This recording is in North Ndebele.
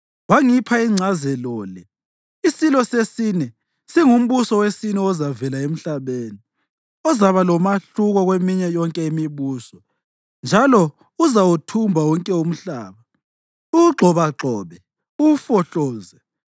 Wangipha ingcazelo le: Isilo sesine singumbuso wesine ozavela emhlabeni. Uzaba lomahluko kweminye yonke imibuso njalo uzawuthumba wonke umhlaba, uwugxobagxobe, uwufohloze.